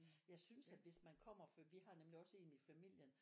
Jeg synes at hvis man kommer for vi har nemlig også en i familien